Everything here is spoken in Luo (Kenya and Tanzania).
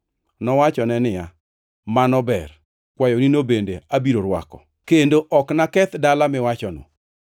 Nowachone niya, “Mano ber, kwayonino bende abiro rwako; kendo ok naketh dala miwachono.